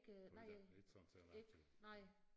Du er ikke ikke sådan særlig aktiv